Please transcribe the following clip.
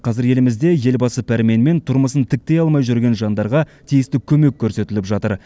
қазір елімізде елбасы пәрменімен тұрмысын тіктей алмай жүрген жандарға тиісті көмек көрсетіліп жатыр